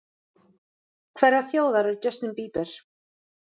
Hverrar þjóðar er Justin Bieber?